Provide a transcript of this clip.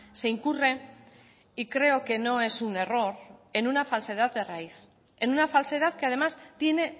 se incurre y creo que no es un error en una falsedad de raíz en una falsedad que además tiene